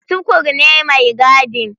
Tukur ne mai gadin.